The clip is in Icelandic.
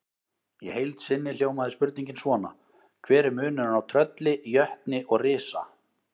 Í heild sinni hljómaði spurningin svona: Hver er munurinn á trölli, jötni og risa?